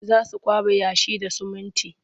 Za su kwaɓa yashi da sumunti.